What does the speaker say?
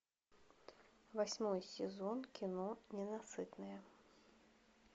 восьмой сезон кино ненасытная